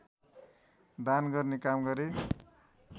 दान गर्ने काम गरे